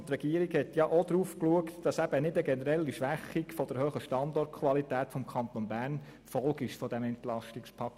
Die Regierung hat darauf geachtet, dass dieses EP keine generelle Schwächung der hohen Standortqualität des Kantons Bern zur Folge hat.